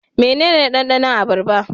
Mene ne dandanon abarba?